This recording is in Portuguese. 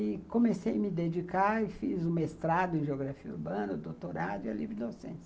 E comecei a me dedicar e fiz o mestrado em geografia urbana, o doutorado e a livre docência.